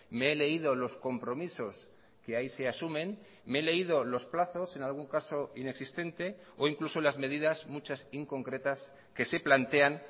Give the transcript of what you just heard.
me he leído los compromisos que ahí se asumen me he leído los plazos en algún caso inexistente o incluso las medidas muchas inconcretas que se plantean